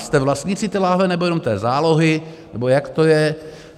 Jste vlastníci té lahve, nebo jenom té zálohy, nebo jak to je?